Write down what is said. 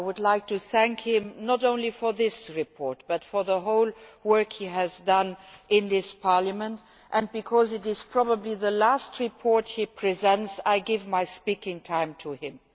I would like to thank him not only for this report but for all the work he has done in this Parliament, and because this is probably the last report he will present, I wish to give my speaking time to him.